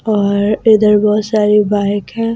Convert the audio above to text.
और इधर बहुत सारी बाइक हैं ।